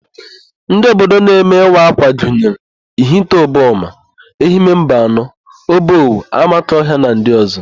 Ndị ododo na-eme ịwa ákwà gynyere: Ihite Uboma, Ehime Mbanọ, Obowo, Amakohịa na ndị ọ̀zọ́.